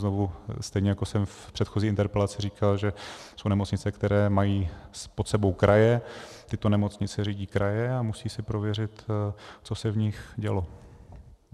Znovu, stejně jako jsem v předchozí interpelaci říkal, že jsou nemocnice, které mají pod sebou kraje, tyto nemocnice řídí kraje a musí si prověřit, co se v nich dělo.